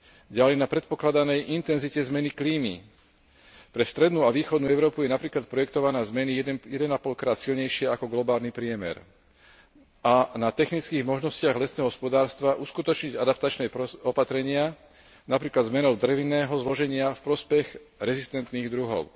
ďalej na predpokladanej intenzite zmeny klímy pre strednú a východnú Európu je napríklad projektovaná zmena jeden a pol krát silnejšia ako globálny priemer a na technických možnostiach lesného hospodárstva uskutočniť adaptačné opatrenia, napríklad zmenou drevnatého zloženia v prospech rezistentných druhov.